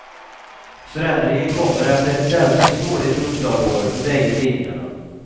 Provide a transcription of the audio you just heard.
Förändringen kommer efter ett sällsynt dåligt upplageår för bägge tidningarna.